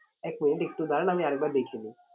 এক minute একটু দাঁড়ান আমি আর একবার দেখে নিই।